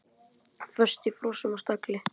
Föst í frösum og stagli.